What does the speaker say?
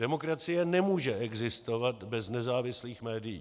Demokracie nemůže existovat bez nezávislých médií.